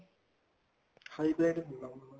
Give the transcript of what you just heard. high breed ਨੀ normal